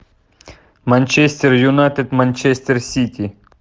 манчестер юнайтед манчестер сити